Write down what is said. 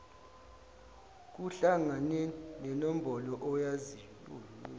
kuhlangane nenombolo oyaziyo